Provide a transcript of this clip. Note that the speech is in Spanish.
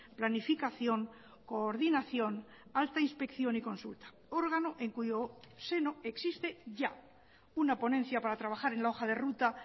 planificación coordinación hasta inspección y consulta órgano en cuyo seno existe ya una ponencia para trabajar en la hoja de ruta